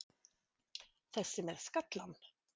Þessi með skallann?